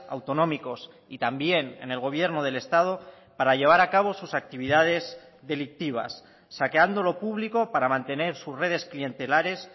autonómicos y también en el gobierno del estado para llevar a cabo sus actividades delictivas saqueando lo público para mantener sus redes clientelares